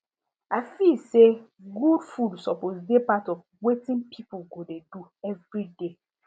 i feel say good food suppose dey part of wetn people go dey do every day